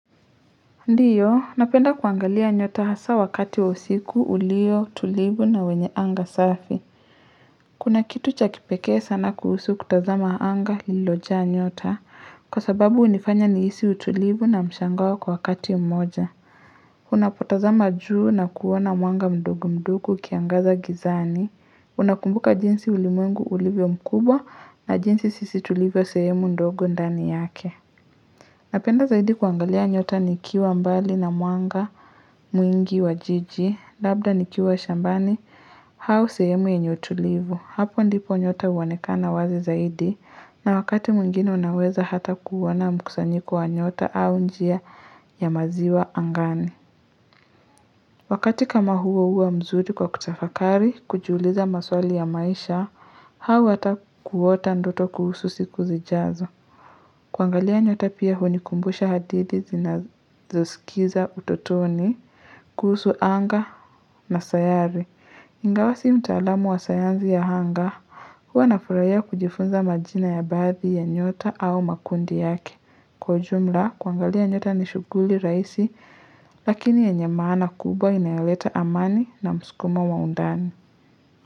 Ndiyo, napenda kuangalia nyota hasa wakati wa usiku, ulio tulivu na wenye anga safi. Kuna kitu cha kipekee sana kuhusu kutazama anga lilojaa nyota. Kwa sababu hunifanya nihisi utulivu na mshangao kwa wakati mmoja. Unapotazama juu na kuona mwanga mdogo mdogo ukiangaza gizani, Unakumbuka jinsi ulimwengu ulivyo mkubwa na jinsi sisi tulivyo sehemu ndogo ndani yake. Napenda zaidi kuangalia nyota nikiwa mbali na mwanga, mwingi wa jiji, labda nikiwa shambani, au sehemu yenye utulivu. Hapo ndipo nyota huonekana wazi zaidi, na wakati mwingine unaweza hata kuona mkusanyiko wa nyota au njia ya maziwa angani. Wakati kama huo huwa mzuri kwa kutafakari, kujiuliza maswali ya maisha, au hata kuota ndoto kuhusu siku zijazo. Kuangalia nyota pia hunikumbusha hadithi tunazosikiza utotoni, kuhusu anga na sayari. Ingawa si mtaalamu wa sayansi ya anga, huwa nafurahia kujifunza majina ya baadhi ya nyota au makundi yake. Kwa jumla, kuangalia nyota ni shughuli rahisi, lakini yenye maana kubwa inayoleta amani na msukumo wa undani.